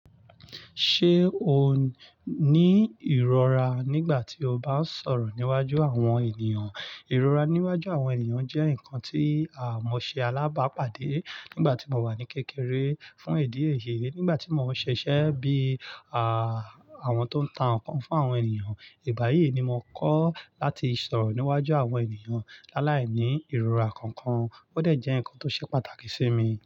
Ṣé o ní ìrora nígbà tí o bá ń sọ̀rọ̀ níwájú àwọn ènìyàn? Ìrora níwájú àwọn ènìyàn jẹ́ nǹkan tí àmọ̀ ṣe alábàápàdé nígbà tí mò ń wà ní kékeré fún èdè èyè. Nígbà tí mò ń ṣiṣẹ́ bí I, àwọn tó ń ta nǹkan fún àwọn ènìyàn. Ìgbà yìí ni mo kọ́ láti sọ̀rọ̀ níwájú àwọn ènìyàn láláìní ìrora kankan. Ó dẹ̀ jẹ́ nǹkan tó ṣe pàtàkì sí mi.